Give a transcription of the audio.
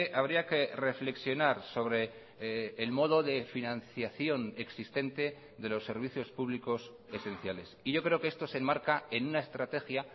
habría que reflexionar sobre el modo de financiación existente de los servicios públicos esenciales y yo creo que esto se enmarca en una estrategia